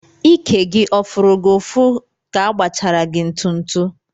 Íkè gị ọ fụrụ gị ụfụ ka agbachara gị ntụtụ?